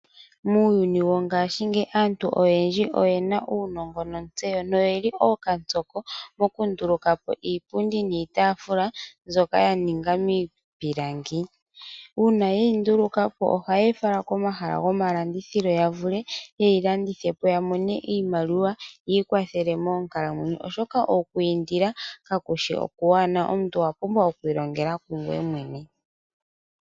Muuyuni wo ngaashi ngeyi aantu oyendji oyena uunongo nontseyo noyeli ookantsoko mokundulukapo iipundi niitaafula mbyoka yaninga miipilangi, uuna ye yi ndulukapo, ohayeyi fala komahala gokulandithila yavule yeyilandithepo yamone iimaliwa yiikwathele monkalamwenyo, oshoka okwiindila kakushi okwaanawa, omuntu owapumbwa oku ilongela kungweye mwene.